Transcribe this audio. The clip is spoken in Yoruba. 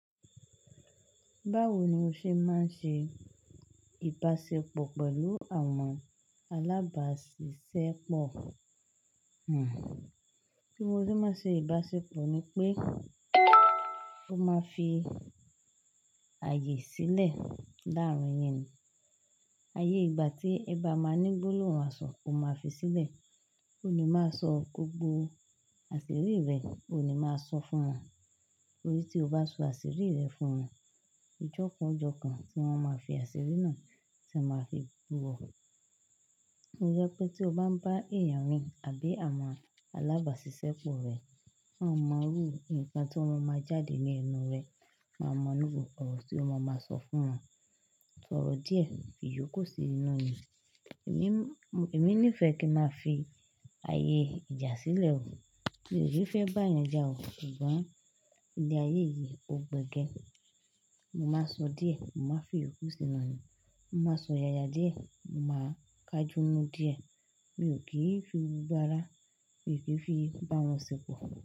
Báwo ni o ṣe máa ń ṣe ìbáṣepọ̀ pẹ̀lú àwọn alábàaṣiṣẹ́ pọ̀? Bí mo ṣe máa ṣe ìbáṣepọ̀ ni pé, o máa fi ààyè sílẹ̀ láàárín yẹn. Ayé ìgbà tí ẹ bá máa ní gbólóhùn àṣọ̀, ẹ máa fi sílẹ̀. Ó ni máa sọ gbogbo àṣírí rẹ, ó ni máa sọ fún wọn. Torí tí o bá sọ àṣírí rẹ fún un, ọjọ́ kan ọ jọ́ kan tí wọ́n máa fi àṣírí náà tí wọn máa fi bu o. Tó jẹ́ pé tí o bá ń bá èèyàn ri àbí àwọn alábàáṣiṣẹ́ pọ̀ rẹ, má máa rú ǹkan tó o máa ma jáde ní ẹnu rẹ máa mọ̀ ru gbogbo ọ̀rọ̀ tí o máa máa sọ fún wọn. Ṣọ̀rọ̀ díẹ̀, fi ìyókù sí inú ni. Èmi, èmi nífẹ̀ẹ́ kí n máa fi ààyè ìjà sílẹ̀. Mi ò ní fẹ́ bá ẹeyan jà o. Ṣùgbọ́n ilé ayé yìí, ó gbẹ gẹ. Mo máa sọ díẹ̀, mo máa fi ìyókù sí inú ayé. Mo máa sọ yaya díẹ̀, mo máa kajúnu díẹ̀. Mi ò kí ń fi gbogbo ara mi kí fi bá wọn ṣépọ̀.